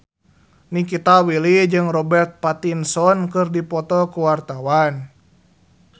Nikita Willy jeung Robert Pattinson keur dipoto ku wartawan